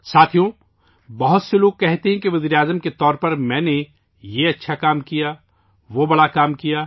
ساتھیو، بہت سے لوگ کہتے ہیں کہ میں نے بطور وزیراعظم یہ اچھا کام کیا، وہ بڑا کام کیا